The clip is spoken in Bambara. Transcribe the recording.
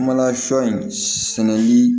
Kumana sɔ in sɛnɛli